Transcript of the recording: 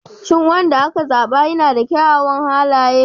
Shin wanda aka zaba yana da kyawawan halaye?